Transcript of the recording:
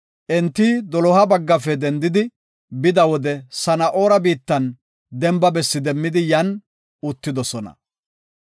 Enti doloha baggafe dendidi bida wode Sana7oora biittan demba bessi demmidi yan uttidosona.